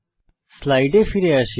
স্লাইডে ফিরে আসি